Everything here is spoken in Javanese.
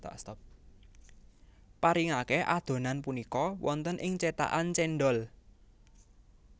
Paringake adhonan punika wonten ing cetakan cendhol